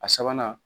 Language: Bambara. A sabanan